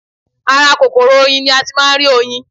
Ara kòkòrò oyin ni a ti máa ń rí oyin